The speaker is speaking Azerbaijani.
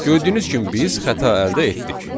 Gördüyünüz kimi biz xəta əldə etdik.